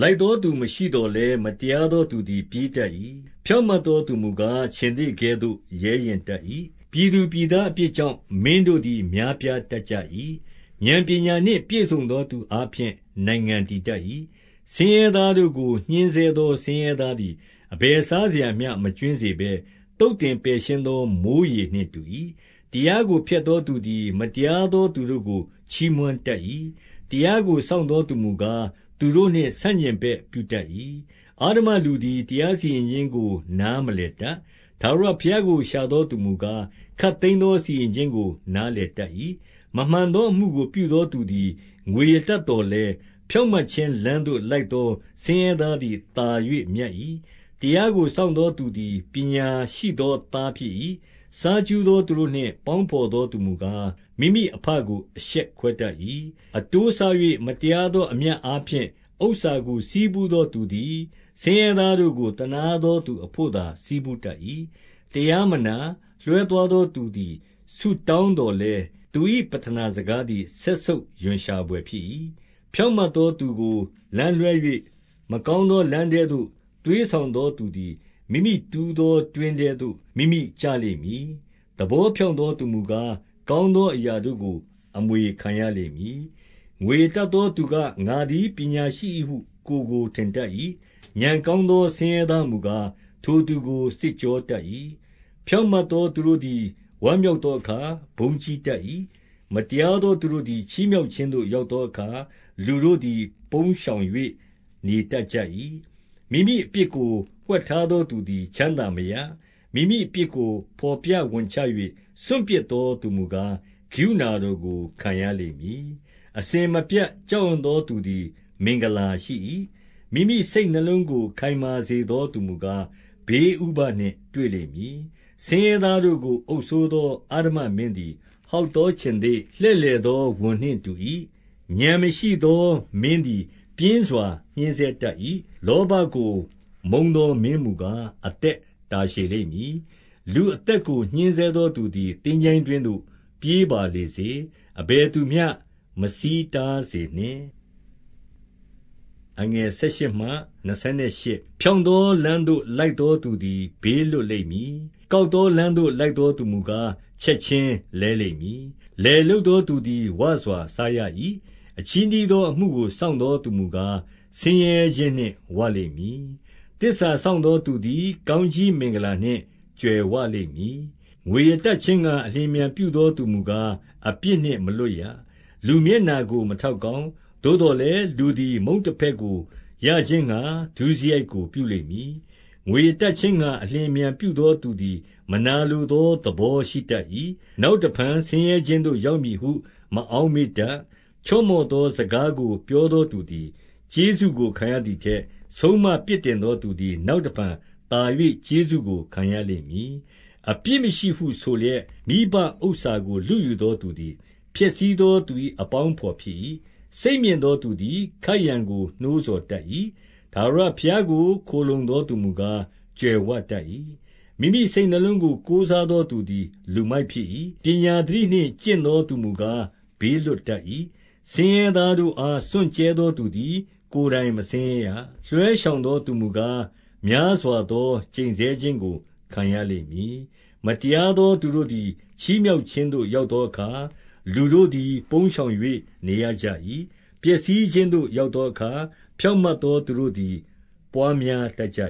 လိုက်သောသူမရှိသော်လည်း၊ မတရားသောသူ သည် ပြေးတတ်၏။ ဖြောင့်မတ်သောသူမူကား၊ ခြင်္သေ့ကဲ့ သို့ ရဲရင့်တတ်၏။ 2 ပြည်သူပြည်သားအပြစ်ကြောင့်၊ မင်းတို့သည် များပြားတတ်ကြ၏။ ဥာဏ်ပညာနှင့် ပြည့်စုံသောသူအား ဖြင့် နိုင်ငံတည်တတ်၏။ 3 ဆင်းရဲသားတို့ကို ညှဉ်းဆဲသော ဆင်းရဲသား သည် အဘယ်စားစရာမျှ မကြွင်းစေဘဲ၊ သုတ်သင်ပယ် ရှင်းသော မိုဃ်းရေနှင့်တူ၏။ 4 တရားကိုဖျက်သောသူသည် မတရားသောသူ တို့ကို ချီးမွမ်းတတ်၏။ တရားကို စောင့်သောသူမူကား၊ သူတို့နှင့် ဆန့်ကျင်ဘက်ပြုတတ်၏။ 5 အဓမ္မလူသည် တရားစီရင်ခြင်းကို နားမလည် တတ်။ ထာဝရဘုရားကို ရှာသောသူမူကား၊ ခပ်သိမ်း သော စီရင်ခြင်းကို နားလည်တတ်၏။ 6 မမှန်သောအမှုကို ပြုသောသူသည် ငွေရတတ် သော်လည်း၊ ဖြောင့်မတ်ခြင်းလမ်းသို့ လိုက်သော ဆင်းရဲ သားသည် သာ၍မြတ်၏။ 7 တရားကိုစောင့်သောသူသည် ပညာရှိသော သားဖြစ်၏။ စားကြူးသောသူတို့နှင့် ပေါင်းဘော်သောသူ မူကား၊ မိမိအဘကို အရှက်ခွဲတတ်၏။ 8 အတိုးစား၍ မတရားသော အမြတ်အားဖြင့် ဥစ္စာကို ဆည်းဖူးသောသူသည် ဆင်းရဲသားတို့ကို သနား သောသူအဘို့သာ ဆည်းဖူးတတ်၏။ 9 တရားမနာ၊ လွှဲသွားသောသူသည် ဆုတောင်း သော်လည်း၊ သူ၏ပဌနာစကားသည် စက်ဆုပ်ရွံရှာဘွယ် ဖြစ်၏။ 10 ဖြောင့်မတ်သောသူကို လမ်းလွှဲ၍၊ မကောင်း သော လမ်းထဲသို့ သွေးဆောင်သောသူသည် မိမိတူးသော တွင်းထဲသို့ မိမိကျလိမ့်မည်။ သဘောဖြောင့်သောသူ မူကား၊ ကောင်းသောအရာတို့ကို အမွေခံရလိမ့်မည်။ 11 ငွေရတတ်သောသူက။ ငါသည်ပညာရှိ၏ဟု ကိုယ်ကို ထင်တတ်၏။ ဥာဏ်ကောင်းသော ဆင်းရဲသား မူကား၊ ထိုသူကို စစ်ကြောတတ်၏။ 12 ဖြောင့်မတ်သောသူတို့သည် ဝမ်းမြောက်သော အခါ ဘုန်းကြီးတတ်၏။ မတရားသောသူတို့သည် ချီးမြှောက်ခြင်းသို့ ရောက်သောအခါ လူတို့သည် ပုန်း ရှောင်၍ နေတတ်ကြ၏။ 13 မိမိအပြစ်ကို ဝှက်ထားသောသူသည် ချမ်းသာမရ။ မိမိအပြစ်ကို ဘော်ပြဝန်ချ၍ စွန့်ပစ်သော သူမူကား၊ ကရုဏာတော်ကို ခံရလိမ့်မည်။ 14 အစဉ်မပြတ် ကြောက်ရွံ့သောသူသည် မင်္ဂလာ ရှိ၏။ မိမိစိတ်နှလုံးကို ခိုင်မာစေသောသူမူကား၊ ဘေး ဥပဒ်နှင့်တွေ့လိမ့်မည်။ 15 ဆင်းရဲသားတို့ကို အုပ်စိုးသော အဓမ္မမင်းသည် ဟောက်သောခြင်္သေ့၊ လှည့်လည်သောဝံနှင့်တူ၏။ 16 ဥာဏ်မရှိသောမင်းသည် ပြင်းစွာညှဉ်းဆဲတတ် ၏။ လောဘကို မုန်းသောမင်းမူကား၊ အသက်တာရှည်လိမ့် မည်။ 17 လူအသက်ကို ညှဉ်းဆဲသောသူသည် သင်္ချိုင်း တွင်းသို့ ပြေးပါလေစေ။ အဘယ်သူမျှ မဆီးတားစေနှင့်။ 18 ဖြောင့်သောလမ်းသို့ လိုက်သောသူသည် ဘေး လွတ်လိမ့်မည်။ ကောက်သောလမ်းသို့ လိုက်သောသူမူကား၊ ချက်ခြင်းလဲလိမ့်မည်။ 19 လယ်လုပ်သောသူသည် ဝစွာစားရ၏။ အချည်း နှီးသောအမှုကို စောင့်သောသူမူကား၊ ဆင်းရဲခြင်းနှင့် ဝလိမ့်မည်။ 20 သစ္စာစောင့်သောသူသည် ကောင်းကြီးမင်္ဂလာ နှင့် ကြွယ်ဝလိမ့်မည်။ ငွေရတတ်ခြင်းငှါ အလျင်အမြန် ပြုသောသူမူကား၊ အပြစ်နှင့်မလွတ်ရ။ 21 လူမျက်နှာကို မထောက်ကောင်း။ သို့သော် လည်း၊ လူသည် မုန့်တဖဲ့ကိုရခြင်းငှါ ဒုစရိုက်ကို ပြုလိမ့် မည်။ 22 ငွေရတတ်ခြင်းငှါ အလျင်အမြန်ပြုသော သူ သည် မနာလိုသောသဘောရှိတတ်၏။ နောက်တဖန် ဆင်းရဲခြင်းသို့ ရောက်မည်ဟု မအောက်မေ့တတ်။ 23 ချော့မော့သောစကားကို ပြောသောသူသည် ကျေးဇူးကို ခံရသည်ထက်၊ ဆုံးမပြစ်တင်သောသူသည် နောက်တဖန် သာ၍ ကျေးဇူးကို ခံရလိမ့်မည်။ 24 အပြစ်မရှိဟုဆိုလျက်၊ မိဘဥစ္စာကို လုယူသော သူသည် ဖျက်ဆီးသောသူ၏ အပေါင်းအဘော်ဖြစ်၏။ 25 စိတ်မြင့်သောသူသည် ခိုက်ရန်ကို နှိုးဆော်တတ် ၏။ ထာဝရဘုရားကို ခိုလှုံသောသူမူကား၊ ကြွယ်ဝတတ် ၏။ 26 မိမိစိတ်နှလုံးကို ကိုးစားသောသူသည် လူမိုက် ဖြစ်၏။ ပညာသတိနှင့် ကျင့်သောသူမူကား၊ ဘေးလွတ် တတ်၏။ 27 ဆင်းရဲသားတို့အား စွန့်ကြဲသောသူသည် ကိုယ် တိုင်မဆင်းရဲရာ။ လွှဲရှောင်သောသူမူကား၊ များစွာသော ကျိန်ဆဲခြင်းကို ခံရလိမ့်မည်။ 28 မတရားသောသူတို့သည် ချီးမြှောက်ခြင်းသို့ ရောက်သောအခါ၊ လူတို့သည် ပုန်းရှောင်၍ နေရကြ၏။ ပျက်စီးခြင်းသို့ ရောက်သောအခါ၊ ဖြောင့်မတ်သောသူတို့ သည် ပွားများတတ်ကြ